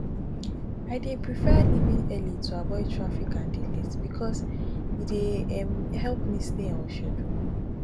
i dey prefer leaving early to avoid traffic and delays because e dey um help me stay on schedule